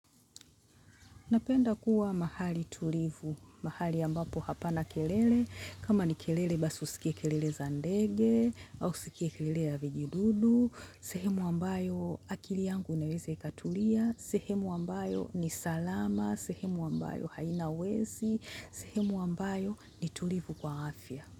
Napenda kuwa mahali tulivu, mahali ambapo hapana kelele, kama ni kelele basi usikie kelele za ndege au usikie kelele ya vijidudu, sehemu ambayo akili yangu inaweza ikatulia, sehemu ambayo ni salama, sehemu ambayo haina wezi, sehemu ambayo ni tulivu kwa afya.